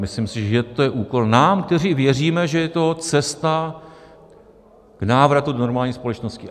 Myslím si, že to je úkol nám, kteří věříme, že je to cesta k návratu do normální společnosti.